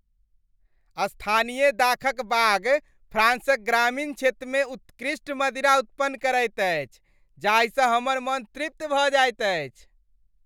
स्थानीय दाखक बाग फ्राँसक ग्रामीण क्षेत्रमे उत्कृष्ट मदिरा उत्पन्न करैत अछि जाहिसँ हमर मन तृप्त भऽ जाइत अछि।